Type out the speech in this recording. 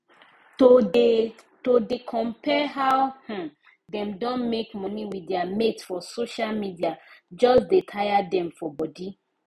to dey to dey compare how um dem don make money with their mates for social media just dey tire dem for body